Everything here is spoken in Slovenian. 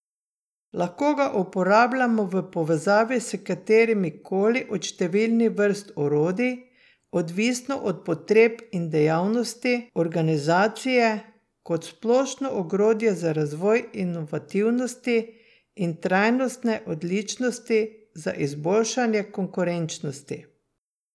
Lahko ga uporabljamo v povezavi s katerim koli od številnih vrst orodij, odvisno od potreb in dejavnosti organizacije, kot splošno ogrodje za razvoj inovativnosti in trajnostne odličnosti za izboljšanje konkurenčnosti.